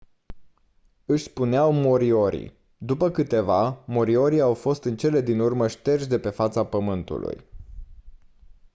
își spuneau moriori după câteva moriori au fost în cele din urmă șterși de pe fața pământului